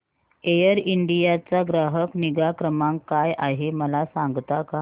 air India चा ग्राहक निगा क्रमांक काय आहे मला सांगता का